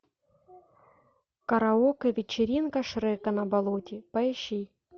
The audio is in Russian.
караоке вечеринка шрека на болоте поищи